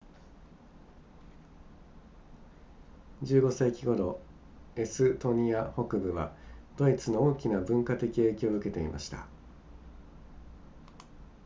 15世紀頃エストニア北部はドイツの大きな文化的影響を受けていました